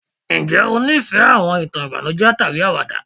njé o nifẹ àwọn ìtàn ìbànújẹ tàbí àwàdà?